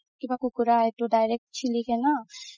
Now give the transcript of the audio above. কিবা কুকুৰা এইটো direct